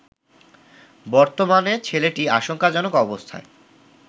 বর্তমানে ছেলেটি আশঙ্কাজনক অবস্থায়